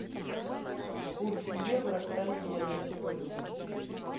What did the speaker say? курс евро к тенге на сегодня